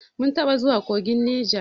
Mun taɓa zuwa kogin Neja.